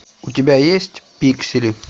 у тебя есть пиксели